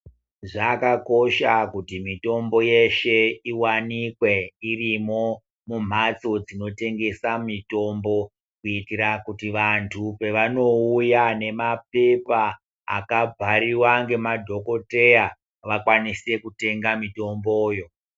Zvakakosha kuti mitombo yeshe iwanikwe irimwo mumpatso inotengesa mutombo kuitira kuti vantu paanouya nemaphepha akabhariwa ngemadhokodheya vakwanise kutenga mitomboyo.